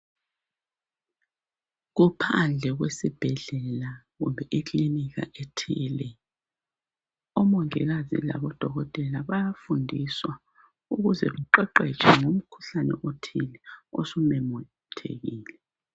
Kuphandle kwesibhedlela kumbe ikilinika ethile. Omongikazi labodokotela bayafundiswa ukuze baqeqetshe ngomkhuhlane othile osumemethekile.